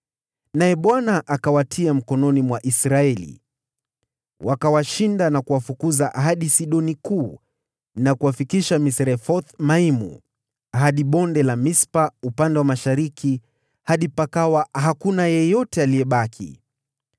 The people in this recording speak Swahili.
naye Bwana akawatia mikononi mwa Israeli. Wakawashinda na kuwafukuza hadi Sidoni Kuu na kuwafikisha Misrefoth-Maimu, hadi Bonde la Mispa upande wa mashariki, hadi pakawa hakuna yeyote aliyebaki.